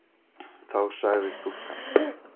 Þá sagði stúlkan